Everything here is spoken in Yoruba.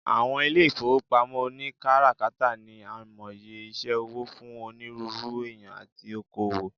Awon ile ifowopamo onikarakata ni aimoye ise owo fun oniruuru eeyan ati oko-owo